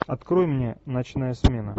открой мне ночная смена